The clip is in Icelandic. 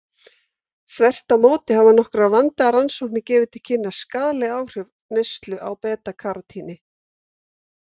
Þvert á móti hafa nokkrar vandaðar rannsóknir gefið til kynna skaðleg áhrif neyslu á beta-karótíni.